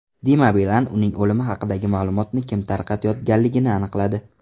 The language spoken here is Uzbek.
Dima Bilan uning o‘limi haqidagi ma’lumotni kim tarqatayotganligini aniqladi.